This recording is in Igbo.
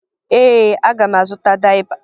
Ee, aga m azụta dayịpa